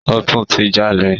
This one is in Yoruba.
Ó tún ti jalè.